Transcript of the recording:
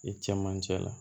I cɛmancɛ la